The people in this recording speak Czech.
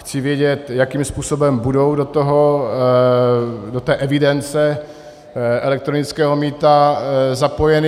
Chci vědět, jakým způsobem budou do té evidence elektronického mýta zapojeny.